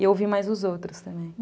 E eu ouvi mais os outros também.